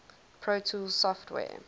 pro tools software